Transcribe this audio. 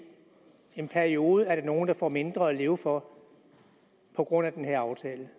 en periode er nogle der får mindre at leve for på grund af den her aftale